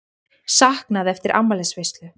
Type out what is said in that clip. Saknað eftir afmælisveislu